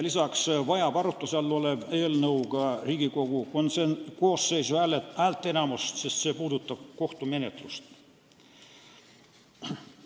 Lisaks vajab arutuse all olev eelnõu Riigikogu koosseisu häälteenamust, sest see puudutab kohtumenetlust.